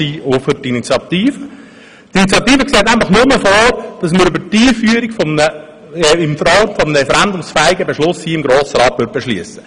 Die Initiative sieht nämlich nur vor, dass wir über die Einführung hier in Form eines referendumsfähigen Grossratsbeschlusses entscheiden würden.